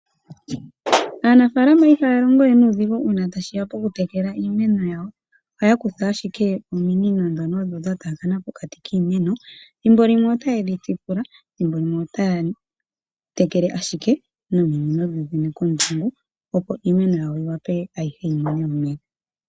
Aanafalama ihaya longo we nuudhigu uuna tashiya pokutekela iimeno yawo. Ohaya kutha ashike ominino ndhono odho dha taakana pokati kiimeno. Thimbo limwe otaye dhi tsipula, nothimbo limwe otayeyi tekele ashike nominino dhoodhene kondungu, opo iimeno yawo yiwape ayihe yimone omeya.